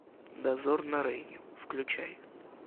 дозор на рейне включай